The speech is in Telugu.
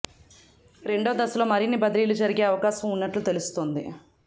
రెండో దశలో మరిన్ని బదిలీలు జరిగే అవకాశం ఉన్నట్లు తెలుస్తుంది